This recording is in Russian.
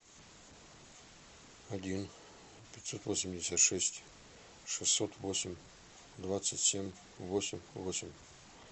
один пятьсот восемьдесят шесть шестьсот восемь двадцать семь восемь восемь